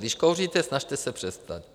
Když kouříte, snažte se přestat.